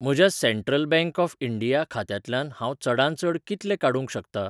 म्हज्या central bank of India खात्यांतल्यान हांव चडांत चड कितले काडूंक शकतां?